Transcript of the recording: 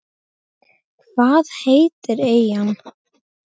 Hvað heitir eyjan?